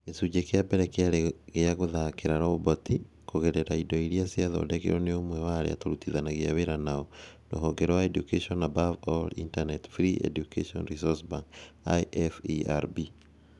Gĩcunjĩ kĩa mbere kĩarĩ gĩa gũthakĩra roboti kũgerera indo iria ciathondekirwo nĩ ũmwe wa arĩa tũrutithanagia wĩra nao, rũhonge rwa Education Above All's Internet Free Education Resource Bank (IFERB)